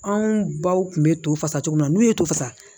Anw baw kun bɛ to fasa cogo min na n'u ye to fasa